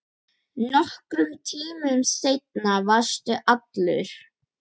Nokkrum tímum seinna varstu allur.